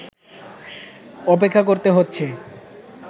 অপেক্ষা করতে হচ্ছে